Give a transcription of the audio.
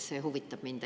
See huvitab mind.